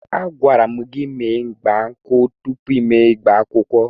Agwara m gị mee ịgba nkwụ tụpụ ịgba akwụkwọ!